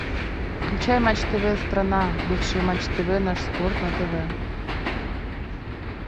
включай матч тв страна бывший матч тв наш спорт на тв